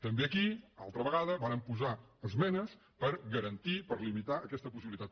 també aquí altra ve·gada vàrem posar esmenes per garantir i per limitar aquesta possibilitat